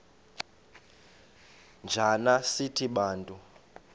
njana sithi bantu